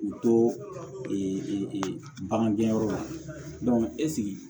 U to e bagan gɛnyɔrɔ la